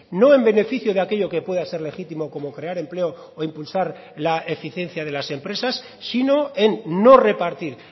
no en beneficio de aquello que pueda ser legítimo como crear empleo o impulsar la eficiencia de las empresas sino en no repartir